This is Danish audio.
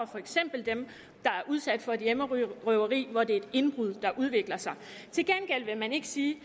for eksempel dem der er udsat for et hjemmerøveri hvor det er et indbrud der udvikler sig til gengæld vil man ikke sige